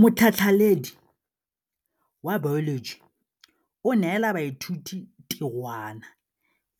Motlhatlhaledi wa baeloji o neela baithuti tirwana